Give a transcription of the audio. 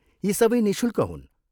यी सबै निःशुल्क हुन्।